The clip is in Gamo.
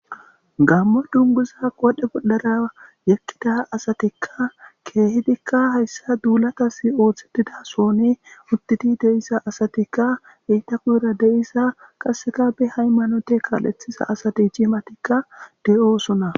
Gammo dunguza wadhe boldara yekkida asatikka keehidikka hayssa duulatasi ooththetida soone uttidi de'isa asatikka eyta kuyra deisa qaseka be hay manote kaal'ethisa asati ciimatikka de'oosona.